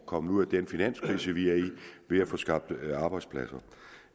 kommer ud af den finanskrise vi er i ved at få skabt arbejdspladser